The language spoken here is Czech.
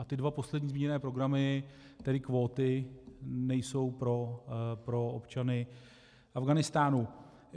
A ty dva poslední zmíněné programy, tedy kvóty, nejsou pro občany Afghánistánu.